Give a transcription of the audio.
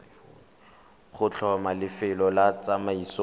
go tlhoma lefelo la tsamaiso